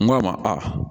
N go a ma a